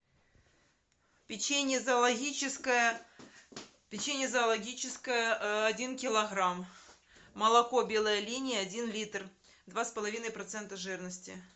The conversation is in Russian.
печенье зоологическое печенье зоологическое один килограмм молоко белая линия один литр два с половиной процента жирности